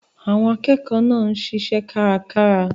Àwọn akẹ́kọ̀ọ́ náà ń ṣiṣẹ́ kárakára.